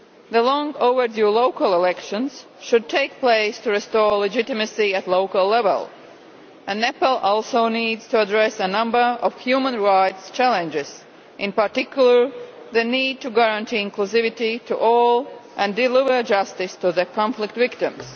The long overdue local elections should take place to restore legitimacy at local level. Nepal also needs to address a number of human rights challenges, in particular the need to guarantee inclusivity to all and deliver justice to the conflict victims.